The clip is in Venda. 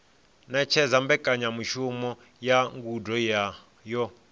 ṅetshedza mbekanyamushumo ya ngudo yo